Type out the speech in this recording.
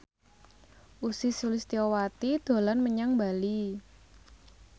Ussy Sulistyawati dolan menyang Bali